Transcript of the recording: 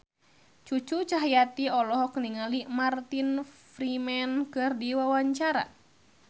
Cucu Cahyati olohok ningali Martin Freeman keur diwawancara